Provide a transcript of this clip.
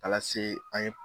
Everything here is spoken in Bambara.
Ala se an ye.